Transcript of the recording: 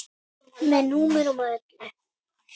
Með númerum og öllu.